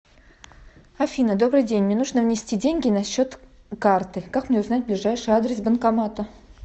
афина добрый день мне нужно внести деньги на счет карты как мне узнать ближайший адрес банкомата